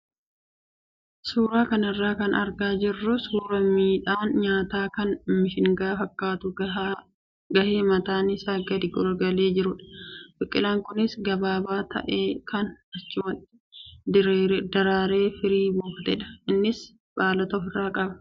Suuraa kanarraa kan argaa jirru suuraa midhaan nyaataa kan mishingaa fakkaatu gahee mataan isaa gadi garagalee jirudha. Biqilaan kunis gabaabaa ta'ee kan achumatti daraaree firii buufatedha. Innis baalota ofirraa qaba.